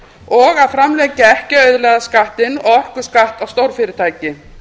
og að framlengja ekki auðlegðarskattinn og orkuskatt á stórfyrirtæki